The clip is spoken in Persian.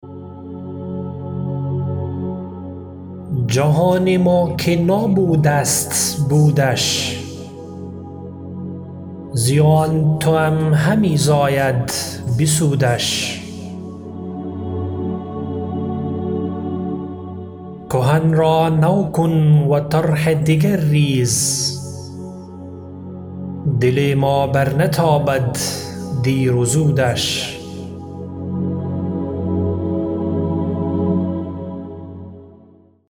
جهان ما که نابود است بودش زیان توام همی زاید بسودش کهن را نو کن و طرح دگر ریز دل ما بر نتابد دیر و زودش